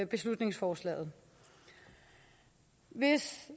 beslutningsforslaget hvis